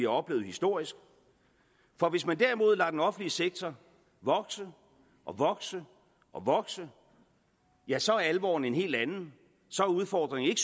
oplevet historisk for hvis man derimod lader den offentlige sektor vokse og vokse og vokse ja så er alvoren en helt anden så er udfordringen